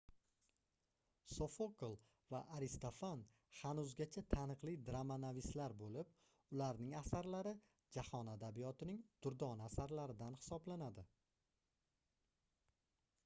sofokl va aristofan hanuzgacha taniqli dramanavislar boʻlib ularning asarlari jahon adabiyotining durdona asarlaridan hisoblanadi